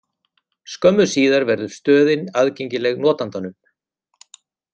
Skömmu síðar verður stöðin aðgengileg notandanum.